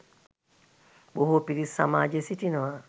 බොහෝ පිරිස් සමාජයේ සිටිනවා